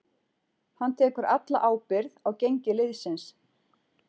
Hann tekur alla ábyrgð á gengi liðsins.